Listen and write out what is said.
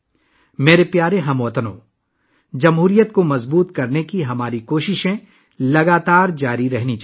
میرے پیارے ہم وطنو، اپنی جمہوریہ کو مضبوط بنانے کی ہماری کوششوں کو مسلسل جاری رہنا چاہیے